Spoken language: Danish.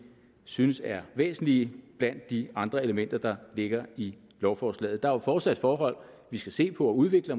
synes er væsentlige blandt de andre elementer der ligger i lovforslaget der er jo fortsat forhold vi skal se på og udvikle